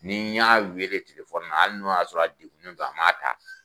Ni y'an weele tilefɔni na hali n'a y'a sɔrɔ a dedunnen don n'a maa ta